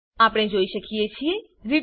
આપણે જોઈ શકીએ છીએ રિટર્ન